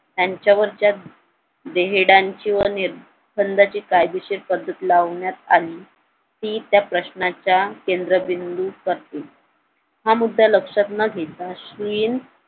त्यांच्यावर त्या देहेडांची व निर्बंधाची कायदेशीर पद्धत लावण्यात आली ती त्या प्रश्नाच्या केंदबिंदूत करते हा मुद्दा लक्ष्यात न घेता अश्विन